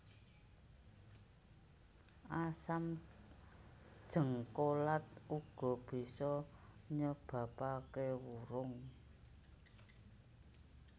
Asam jéngkolat uga bisa nyebabaké wurung